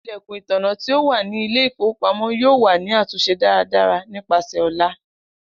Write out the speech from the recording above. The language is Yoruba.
Ilẹkun itanna ti o wa ni ile-ifowopamọ yoo wa ni atunṣe daradara nipasẹ ọla.